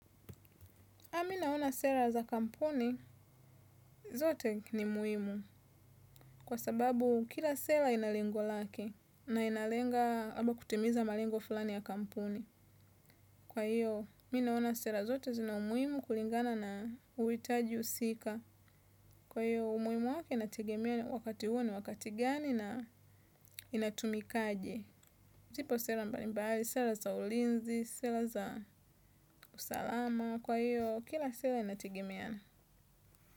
Nami naona sera za kampuni zote ni muhimu kwa sababu kila sera ina lengo lake na inalenga labda kutimiza malengo fulani ya kampuni. Kwa hiyo, mi naona sera zote zina umuhimu kulingana na uhitaji husika. Kwa hiyo, umuhimu wake inategemea wakati huo ni wakati gani na inatumikaje. Zipo sera mbalimbali, sera za ulinzi, sera za usalama. Kwa hiyo, kila sera inatigimia.